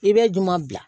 I bɛ ɲuman bila